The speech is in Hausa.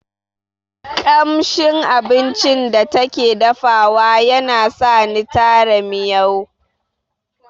Ƙamshin abincin da take dafa wa yana sani tara miyau